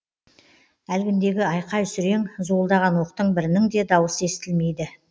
әлгіндегі айқай сүрең зуылдаған оқтың бірінің де дауысы естілмейді